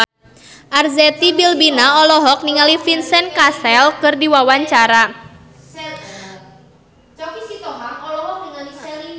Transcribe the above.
Arzetti Bilbina olohok ningali Vincent Cassel keur diwawancara